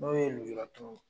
Dɔw ye nujuratɔw ye